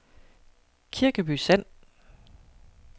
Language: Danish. Kirkeby Sand